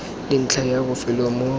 le ntlha ya bofelo mo